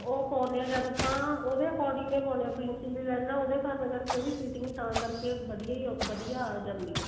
ਉਹ ਪਾਉਣੇ ਹਾਂ ਜਦ ਆਪਾਂ ਉਹਦੇ according ਹੀ ਪਾਉਣੇ ਹਾਂ princess ਲਾਈਨਾ ਉਹਦੇ ਕਾਰਣ ਕਰਕੇ ਉਹਦੀ fitting ਤਾਂ ਕਰਕੇ ਵਧੀਆ ਹੀ ਵਧੀਆ ਆ ਜਾਂਦਾ ਏ